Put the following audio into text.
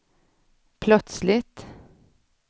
plötsligt